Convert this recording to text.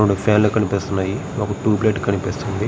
మనకి ఫ్యాన్ లు కనిపిస్తూ ఉన్నాయి. ఒక ట్యూబ్ లైట్ కనిపిస్తుంది.